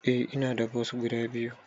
Eh ina da bos guda biyu.